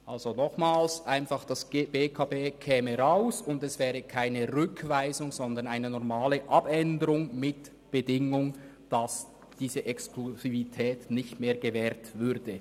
Also nochmals: Die BEKB würde nicht genannt, und es wäre keine Rückweisung, sondern eine normale Abänderung mit der Bedingung, dass diese Exklusivität nicht mehr gewährt würde.